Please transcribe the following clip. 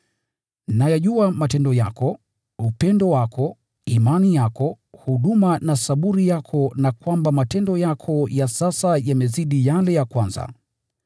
Nayajua matendo yako, upendo wako na imani yako, huduma na saburi yako na kwamba matendo yako ya sasa yamezidi yale ya kwanza.